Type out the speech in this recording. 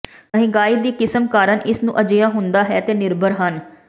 ਮਹਿੰਗਾਈ ਦੀ ਕਿਸਮ ਕਾਰਨ ਇਸ ਨੂੰ ਅਜਿਹਾ ਹੁੰਦਾ ਹੈ ਤੇ ਨਿਰਭਰ ਹਨ